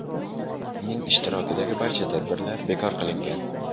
Uning ishtirokidagi barcha tadbirlar bekor qilingan.